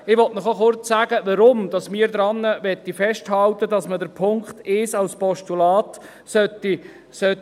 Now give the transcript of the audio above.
Ich möchte Ihnen kurz sagen, weshalb wir daran festhalten wollen, dass man den Punkt 1 als Postulat überweist.